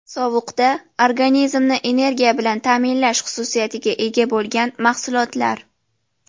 Sovuqda organizmni energiya bilan ta’minlash xususiyatiga ega bo‘lgan mahsulotlar.